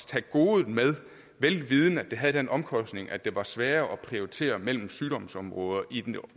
tage godet med vel vidende at det havde den omkostning at det var sværere at prioritere mellem sygdomsområder i